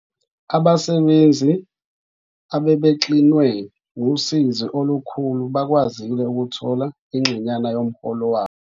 Abasebenzi abebexinwe ngusizi olukhulu bakwazile ukuthola ingxenyana yomholo wabo.